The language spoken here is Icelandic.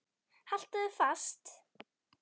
Haltu þér fast.